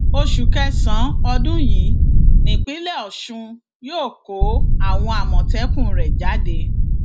oṣù kẹsànán ọdún yìí nípínlẹ ọṣun yóò kó àwọn àmọtẹkùn rẹ jáde